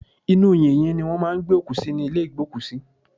Inú yìnyín ni wọ́n máà ń gbé òkú sí ní ìlé ìgbókùsí.